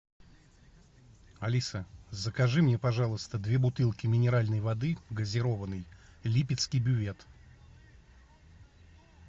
алиса закажи мне пожалуйста две бутылки минеральной воды газированной липецкий бювет